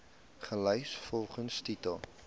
gelys volgens titel